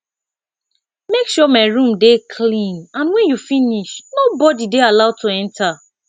make sure my room dey clean and wen you finish nobody dey allowed to enter